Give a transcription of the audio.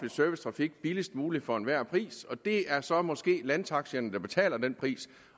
servicetrafik billigst muligt for enhver pris og det er så måske landtaxierne der betaler den pris